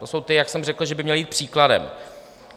To jsou ti, jak jsem řekl, že by měli jít příkladem.